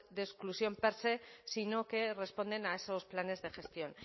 de exclusión per se sino que responden a esos planes de gestión